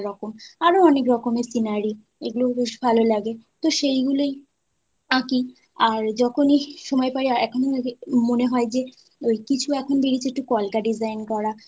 আরও অনেক রকমের scenary, এগুলোই বেশ ভালো লাগে তো সেগুলোই আঁকি আর যখনই সময় পাই এখন মনে হয় যে কিছু এখন বেরিয়েছে একটু কলকা design করা।